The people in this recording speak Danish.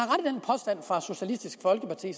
for socialistisk folkeparti